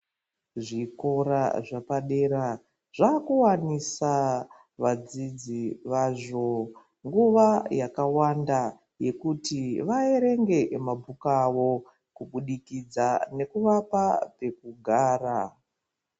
Zvikora zvepadera zvakuwanisa vadzidzi vazvo nguwa yakawanda yekuti vaverenge mabhuku awo kubudikidza nekuvapa pekugara.